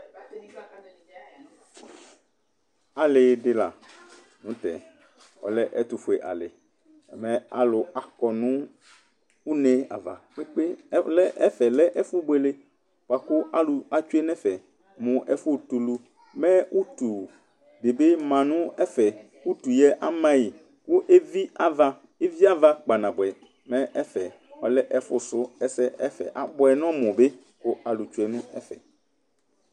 Alɩɩ dɩ la nʋ tɛ, ɔlɛ ɛtʋ fue alɩMɛ alʋ akɔ nʋ une ava kpekpe Ɛfɛ lɛ ɛfʋ buele bʋa kʋ alʋ nɛfɛ mʋ ɛfʋ tuluMɛ utu dɩ bɩ ma nʋ ɛfɛ, mɛ utu yɛ, ama yɩ kʋ evi ava ,evi ava kpanabʋɛ, mɛ ɛfɛ ɔlɛ ɛfʋ sʋ ɛsɛ ɛfɛ abʋɛ nɔmʋ bɩ kʋ alʋ tsue nʋ ɛfɛ